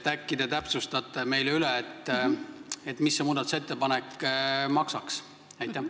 Äkki te täpsustate meile, mis see muudatusettepanek maksaks?